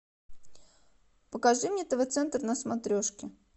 покажи мне тв центр на смотрешке